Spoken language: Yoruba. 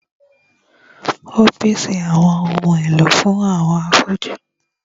Ó pèsè àwọn ohun èlò fún àwọn afọ́jú.